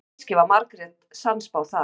kannski var margrét sannspá þar